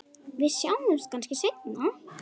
Við sjáumst kannski seinna.